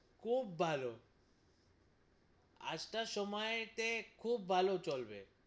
খুব ভালো, আজকার সময়ে তে খুব ভালো চলবে,